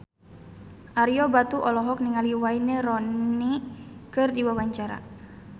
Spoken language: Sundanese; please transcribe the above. Ario Batu olohok ningali Wayne Rooney keur diwawancara